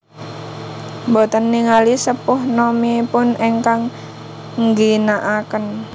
Boten ningali sepuh nomipun engkang ngginaaken